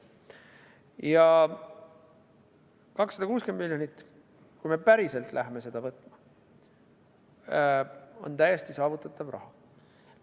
Ja 260 miljonit, kui me päriselt läheme seda võtma, on täiesti saavutatav raha.